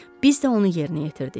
Biz də onu yerinə yetirdik.